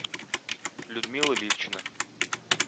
людмила ливчина